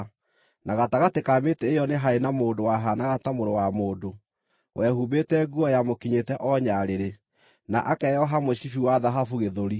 na gatagatĩ ka mĩtĩ ĩyo nĩ haarĩ na mũndũ “wahaanaga ta mũrũ wa mũndũ,” wehumbĩte nguo yamũkinyĩte o nyarĩrĩ, na akeoha mũcibi wa thahabu gĩthũri.